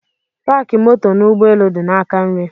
Paki moto n'ụgbọelu di n'aka nri